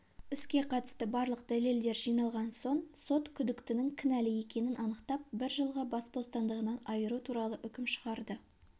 іске қатысты барлық дәлелдер жиналған соң сот күдіктінің кінәлі екенін анықтап бір жылға бас бостандығынан айыру туралы үкім шығарды